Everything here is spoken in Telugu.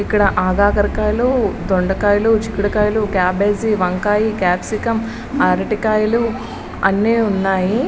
ఇక్కడ అగగర్కాయలు దొండకాయలు చికిడికాయలు కబ్బజి వంకాయలు క్యాప్సియం అరియకాయలు అన్ని ఉన్నాయి.